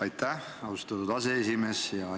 Aitäh, austatud aseesimees!